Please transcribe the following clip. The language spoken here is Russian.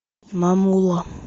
мамула